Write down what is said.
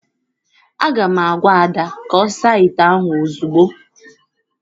Aga m agwa Ada ka ọ saa ite ahụ ozugbo!